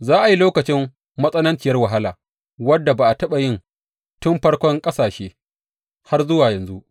Za a yi lokacin matsananciyar wahala wanda ba a taɓa yi tun farkon ƙasashe har zuwa yanzu.